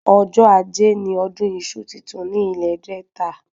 Ọjọ́ ajé ni ọdún iṣu titun ní ilè Delta